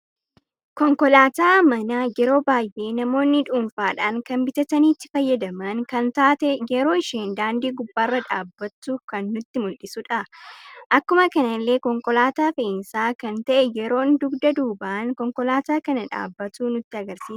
Konkoolaata mana yeroo baay'ee namoonni dhuunfaadhan kan bitaatani itti faayyadaman kan taatee yeroo isheen daandii gubbarra dhabbattu kan nutti muldhisudha. Akkuma kanallee konkoolaata fe'isaa kan ta'e yeroonni dugda duuba konkoolaata kana dhabbatu nutti agarsiisa